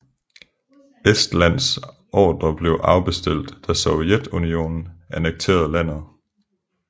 Estlands ordre blev afbestilt da Sovjetunionen annekterede landet